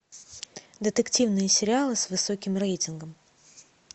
детективные сериалы с высоким рейтингом